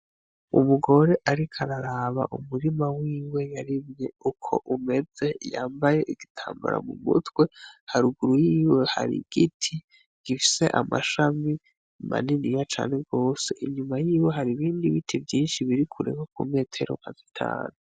Umugore ariko araraba umurima wiwe yarimye uko umeze, yambaye igitambara mumutwe haruguru yiwe har'igiti gifise amashami maniniya cane gose inyuma yiwe hari ibindi vyinshi birikure nko kumetero nka zitanu.